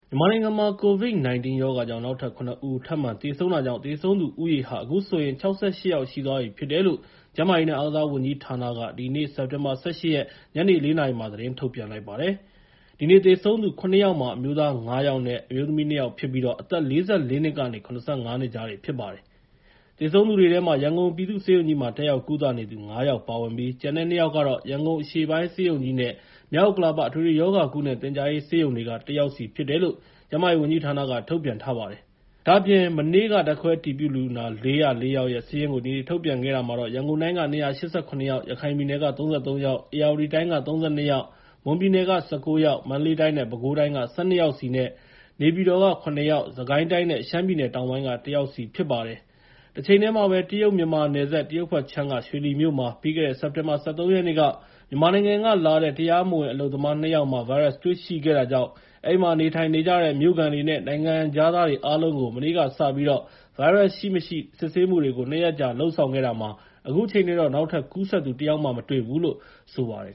မြန်မာနိုင်ငံမှာ ကိုဗစ် ၁၉ ရောဂါကြောင့် နောက်ထပ် ၇ ဦး ထပ်မံသေဆုံးတဲ့အတွက် သေဆုံးသူဦးရေဟာ အခုဆိုရင် ၆၈ ယောက်ရှိသွားပြီဖြစ်တယ်လို့ ကျန်းမာရေးနဲ့ အားကစားဝန်ကြီးဌာနက ဒီကနေ့ စက်တင်ဘာ ၁၈ ရက် ညနေ ၄ နာရီမှာ သတင်းထုတ်ပြန်လိုက်ပါတယ်။ ဒီနေ့ သေဆုံးသူ ၇ ယောက်မှာ အမျိုးသား ၅ ယောက်နဲ့ အမျိုးသမီး ၂ ယောက်ဖြစ်ပြီး၊ အသက် ၄၄ နှစ်ကနေ ၇၅ နှစ် ကြားတွေဖြစ်ကြပါတယ်။ သေဆုံးသူတွေထဲမှာ ရန်ကုန်ပြည်သူ့ဆေးရုံကြီးမှာ တက်ရောက် ကုသနေသူ ၅ ယောက်ပါဝင်ပြီး ကျန်တဲ့ ၂ ယောက်ကတော့ ရန်ကုန်အရှေ့ပိုင်း ဆေးရုံကြီးနဲ့ မြောက်ဥက္ကလာပ အထွေထွေရောဂါနဲ့ သင်ကြားရေး ဆေးရုံတွေက ၁ ယောက်စီ ဖြစ်တယ်လို့ ကျန်းမာရေးဝန်ကြီးဌာနက ထုတ်ပြန်ထားပါတယ်။ ဒ့ါအပြင် မနေ့က ဓာတ်ခွဲအတည်ပြုလူနာ ၄၀၄ ယောက်ရဲ့ စာရင်းကို ဒီနေ့ ထုတ်ပြန်ခဲ့တာမှာတော့ ရန်ကုန်တိုင်းက ၂၈၇ ယောက်၊ ရခိုင်ပြည်နယ်က ၃၃ ယောက်၊ ဧရာဝတီတိုင်းက ၃၂၊ မွန်ပြည်နယ်က ၁၉ ယောက်၊ မန္တလေးတိုင်းနဲ့ ပဲခူးတိုင်းက ၁၂ ယောက်စီ၊ နေပြည်တော်က ၇ ယောက်၊ စစ်ကိုင်းတိုင်းနဲ့ ရှမ်းပြည်တောင်ပိုင်းက ၁ ယောက်စီဖြစ်ပါတယ်။ တချိန်တည်းမှာပဲ တရုတ် မြန်မာနယ်စပ် တရုတ်ဘက်ခြမ်းက ရွှေလီမြို့မှာ ပြီးခဲ့တဲ့ စက်တင်ဘာ ၁၃ ရက်နေ့က မြန်မာနိုင်ငံကလာတဲ့ တရားမဝင်အလုပ်သမား ၂ ယောက်မှာ ဗိုင်းရပ်စ်တွေ ရှိခဲ့တာကြောင့် အဲဒီမှာ နေုထိုင်နေကြတဲ့ မြို့ခံတွေနဲ့ နိုင်ငံခြားသားတွေအားလုံးကို မနေ့ကစပြီး ဗိုင်းရပ်စ်ရှိ၊ မရှိ စစ်ဆေးမှုတွေကို ၂ ရက်ကြာ လုပ်ဆောင်ခဲ့တာမှာ အခုချိန်ထိတော့ နောက်ထပ်ကူးစက်သူ တစ်ယောက်မှ မတွေ့သေးဘူးလို့ ဆိုပါတယ်